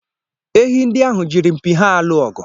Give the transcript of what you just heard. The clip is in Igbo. Ehi ndị ahụ jiri mpi ha alụ ọgụ.